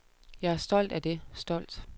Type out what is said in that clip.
Jeg er stolt af det, stolt.